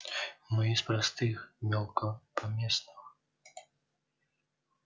мы из простых мелкопоместных